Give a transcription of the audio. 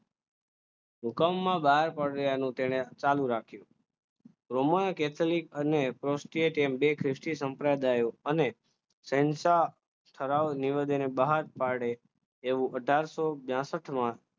હુકમમાં બહાર પડવાનું તેને ચાલુ રાખજો રૂમમાં એક કેથોલિક અને રોસ્ટે કેમ એમ બે ખ્રિસ્તી સંપ્રદાય અને સહેનશા ઠરાવ નિવેદન બહાર પાડે એવું આથર્સો છસથમાં